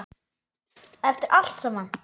Eftir allt saman.